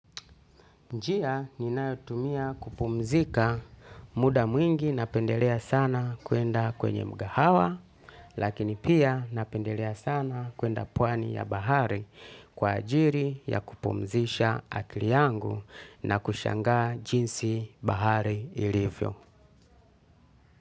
Njia ninayotumia kupumzika muda mwingi napendelea sana kuenda kwenye mkahawa, lakini pia napendelea sana kwenda pwani ya bahari kwa ajili ya kupumzisha akili yangu na kushangaa jinsi bahari ilivyo.